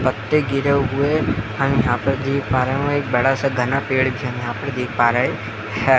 पत्ते गिरे हुए है यहाँ पर देख पा रहे है एक बड़ा सा घना पेड़ भी हम यहाँ पे देख पा रहे है।